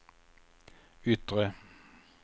yttre